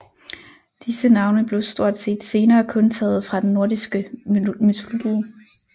Disse navne blev stort set senere kun taget fra den nordiske mytologi